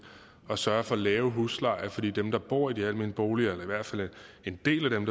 at sørge for lave huslejer fordi dem der bor i de almene boliger i hvert fald en del af dem